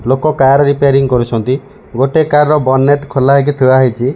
ଲୋକ car repairing କରୁଛନ୍ତି ଗୋଟେ କାର ର ବନନେଟ ଖୋଲା ହୋଇ ଥୁଆହେଇ ।